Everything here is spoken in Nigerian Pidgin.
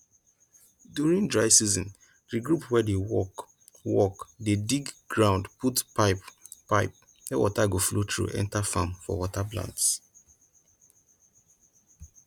during dry season di group wey dey work dey dig ground put pipe pipe wey water go flow through enter farm for water plants